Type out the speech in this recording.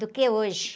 Do que hoje.